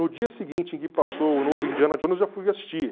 No dia seguinte em que passou o novo Indiana Jones, eu já fui assistir.